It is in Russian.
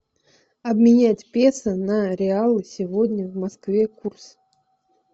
обменять песо на реалы сегодня в москве курс